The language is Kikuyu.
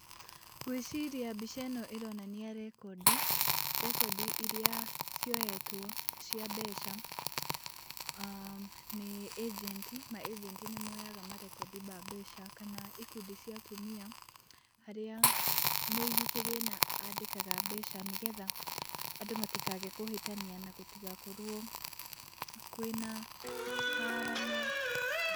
Ngwĩciria mbica ĩno ĩronania rekondi, rekondi iria cioyetwo cia mbeca nĩ ĩjenti. Maĩjenti nĩmoyaga marekondi ma mbeca kana ikundi cia atumia, harĩa mũigi kĩgĩna andĩkaga mbeca nĩgetha andũ matikage kũhĩtania na gũtigakorwo kwĩna.